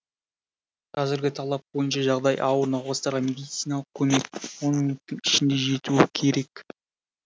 қазіргі талап бойынша жағдайы ауыр науқастарға медициналық көмек он минуттың ішінде жетуі керек